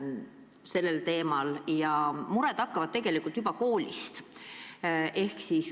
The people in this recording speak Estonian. On teada, et mured hakkavad pihta juba koolist.